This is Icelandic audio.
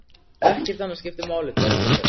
Ekkert annað skiptir máli þá stundina.